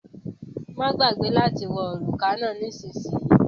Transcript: Má gbàgbé láti wọ òrùka náà nísìsiyìí